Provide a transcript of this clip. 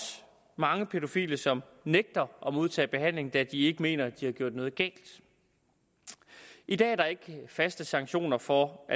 mange pædofile som nægter at modtage behandling da de ikke mener de har gjort noget galt i dag er der ikke faste sanktioner for